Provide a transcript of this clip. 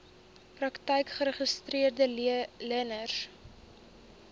praktyke geregistreede leners